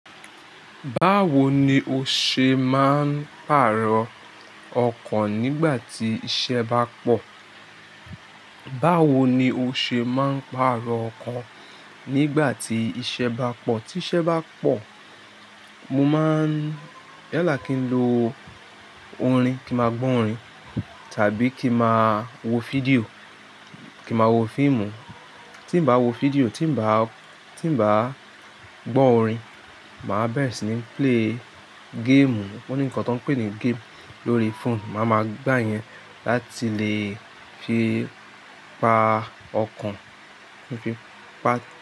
Báwo ni o ṣe máa ń pàrọ̀ ọkàn nígbà tí iṣẹ́ bá pọ̀? Báwo ni o ṣe máa ń pàrọ̀ ọkàn nígbà tí iṣẹ́ bá pọ̀? Tí iṣẹ́ bá pọ̀, mo máa ń yalá kí n lo orin, kí máa gbó orin tàbí kí máa wo fídíò, kí máa wo fíìmùù. Tí n bá wo fídíò, tí n bá, tí n bá gbọ́ orin, màá béèsì ní play game. Ó ní nǹkan tí wọ́n pè ní game lórí phone. Màá ma gbà iyẹn láti lè fi pa ọkàn, fi pa.